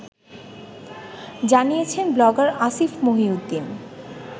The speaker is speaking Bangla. জানিয়েছেন ব্লগার আসিফ মহিউদ্দীন